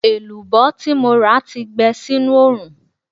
Èlùbọ́ tí mo rà ti gbẹ sínú oòrùn